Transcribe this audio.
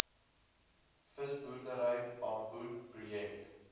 visboerdery bamboed projek